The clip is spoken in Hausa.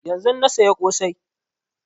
Yanzun na saya ƙosai